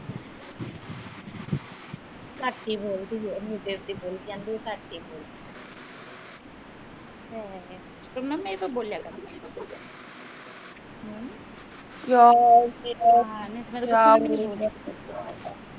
ਘੱਟ ਈ ਬੋਲਦੀ ਇਹ ਬੋਲੀ ਜਾਂਦੀ ਘੱਟ ਈ ਬੋਲਿਆ ਕਰ